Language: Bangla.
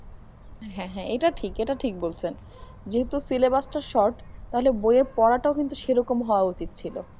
হ্যা হ্যা এটা ঠিক এটা ঠিক বলছেন। যেহেতু syllabus ত short তাহলে বইয়ের পড়াটাও কিন্তু সেইরকম হওয়া উচিতছিল